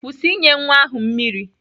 Kwụsị inye nwa ahụ mmiri!